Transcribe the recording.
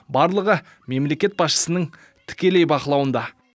барлығы мемлекет басшысының тікелей бақылауында